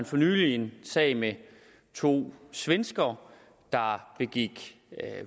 for nylig en sag med to svenskere der begik